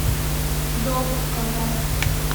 сдобушка запись